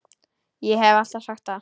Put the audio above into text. Ég hef alltaf sagt það.